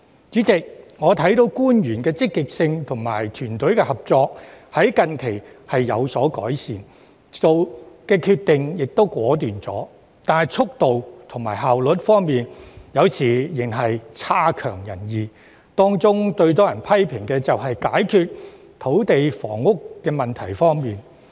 主席，我看到官員的積極性及團隊合作近期有所改善，做決定時也更果斷，但在速度和效率方面有時仍然差強人意，當中最多人批評的是他們在解決土地及房屋問題方面的表現。